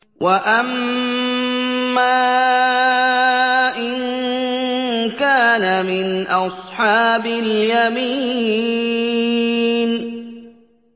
وَأَمَّا إِن كَانَ مِنْ أَصْحَابِ الْيَمِينِ